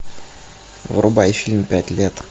врубай фильм пять лет